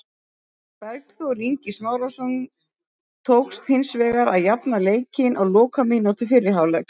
Bergþór Ingi Smárason tókst hins vegar að jafna leikinn á lokamínútu fyrri hálfleiks.